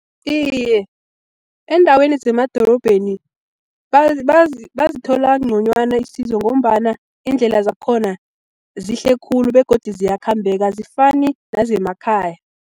Iye, eendaweni zemadorobheni bazithola nconywana isizo, ngombana iindlela zakhona zihle khulu begodu ziyakhambeka azifani nazemakhaya.